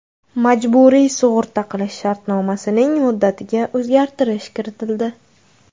Majburiy sug‘urta qilish shartnomasining muddatiga o‘zgartish kiritildi.